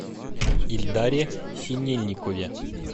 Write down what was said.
ильдаре синельникове